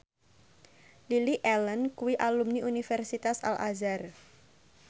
Lily Allen kuwi alumni Universitas Al Azhar